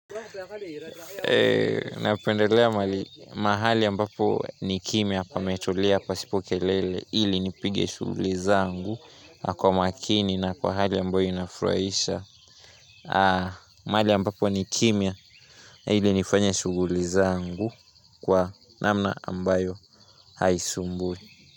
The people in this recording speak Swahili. Eee, napendelea mahali ambapo ni kimia pametulia pasipo kelele. Ili nipige shughuli zangu, na Kwa makini na kwa hali ambayo inafurahisha. Ah, mahali ambapo ni kimia, ili nifanye shughuli zangu kwa namna ambayo haisumbui.